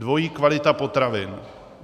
Dvojí kvalita potravin.